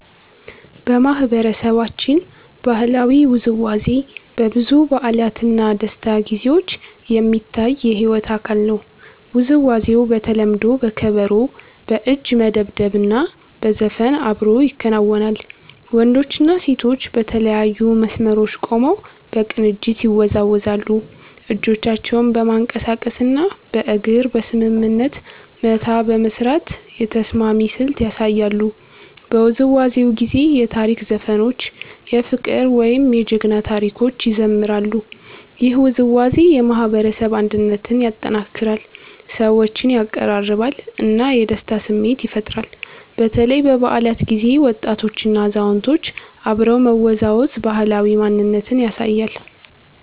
በማህበረሰባችን ባህላዊ ውዝዋዜ በብዙ በዓላት እና ደስታ ጊዜዎች የሚታይ የሕይወት አካል ነው። ውዝዋዜው በተለምዶ በከበሮ፣ በእጅ መደብደብ እና በዘፈን አብሮ ይከናወናል። ወንዶችና ሴቶች በተለያዩ መስመሮች ቆመው በቅንጅት ይወዛወዛሉ፣ እጆቻቸውን በማንቀሳቀስ እና በእግር በስምምነት መታ በመስራት የተስማሚ ስልት ያሳያሉ። በውዝዋዜው ጊዜ የታሪክ ዘፈኖች፣ የፍቅር ወይም የጀግና ታሪኮች ይዘምራሉ። ይህ ውዝዋዜ የማህበረሰብ አንድነትን ያጠናክራል፣ ሰዎችን ያቀራርባል እና የደስታ ስሜት ይፈጥራል። በተለይ በበዓላት ጊዜ ወጣቶችና አዛውንቶች አብረው መወዛወዝ ባህላዊ ማንነትን ያሳያል።